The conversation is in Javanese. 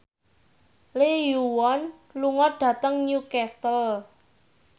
Lee Yo Won lunga dhateng Newcastle